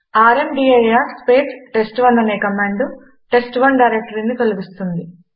rmdir space test1 అనే command test1 డైరెక్టరీని తొలగిస్తుంది